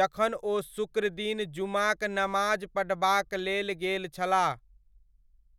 जखन ओ शुक्रदिन जुमाक नमाज पढ़बाक लेल गेल छलाह।